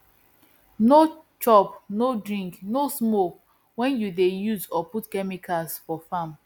no chop no drink no smoke when you dey use or put chemicals for farm